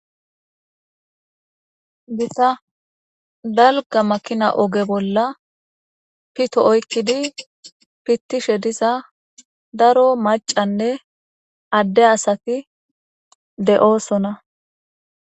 Gitadalga makina oge bolla pito oykkidi pittishe diza daro macanne adde asati de7oosona